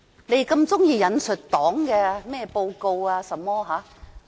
他們喜歡引述中共的報告。